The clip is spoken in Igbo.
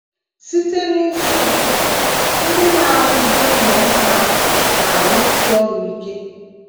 Site n’isi ụtụtụ, ndị na - arụzi ụlọ nsọ ahụ na - arụsi ọrụ ike.